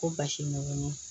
Ko basi ko ni